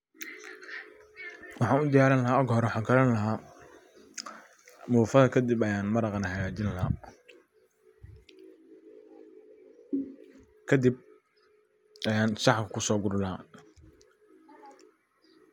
Waxan u diyarini laha oga hore waxan karini laha mufaha kadib ayan maraqa hagajin laha. Kadib ayan sahan kuso guri laha.